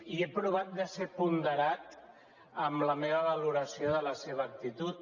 i he provat de ser ponderat en la meva valoració de la seva actitud